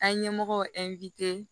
An ye ɲɛmɔgɔ